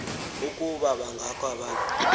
ukuba bangakho abantu